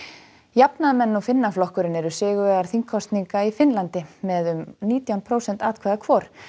jafnaðarmenn og Finnaflokkurinn eru sigurvegarar þingkosninga í Finnlandi með um nítján prósent atkvæða hvor